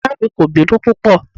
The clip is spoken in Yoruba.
Ìyá mi kò bínú púpọ̀.